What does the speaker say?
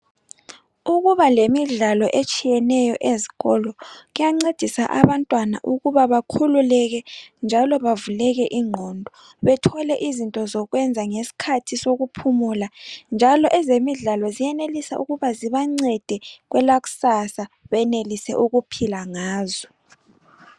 Ukuba lemidlalo etshiyeneyo ezikolo kuyancedisa abantwana ukuba bakhululeke njalo bavuleke inqondo bethole izinto zokwenza ngesikhathi sokuphumula njalo ezemidlala ziyakwanisa ukuba zibancede kwelakusasa benelise ukuphila ngazo